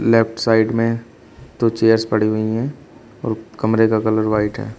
Left side में दो chairs पड़ी हुई हैं और कमरे का कलर व्हाइट है।